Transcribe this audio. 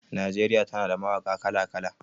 Najeriya tana da mawaƙa kala-kala.